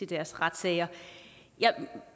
deres retssager jeg